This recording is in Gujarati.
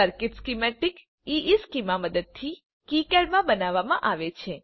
સર્કિટ સ્કિમેટિક્સ ઇશ્ચેમાં મદદથી કિકાડ માં બનાવવામાં આવે છે